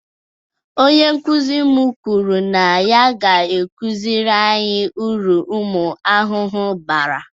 Onye nkụzi m kwụrụ na ya ga-akụziri anyi uru umu ahụhụ bara